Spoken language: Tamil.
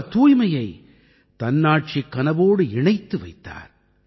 அவர் தூய்மையை தன்னாட்சிக் கனவோடு இணைத்து வைத்தார்